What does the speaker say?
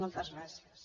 moltes gràcies